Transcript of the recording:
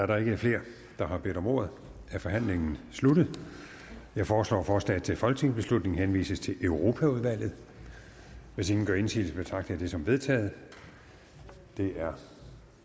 der ikke er flere der har bedt om ordet er forhandlingen sluttet jeg foreslår at forslaget til folketingsbeslutning henvises til europaudvalget hvis ingen gør indsigelse betragter jeg det som vedtaget det er